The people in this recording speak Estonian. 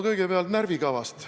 Kõigepealt närvikavast.